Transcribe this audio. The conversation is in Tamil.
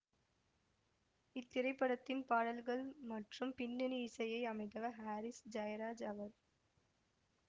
இத்திரைப்படத்தின் பாடல்கள் மற்றும் பின்னணி இசையை அமைத்தவர் ஹாரிஸ் ஜயராஜ் அவர்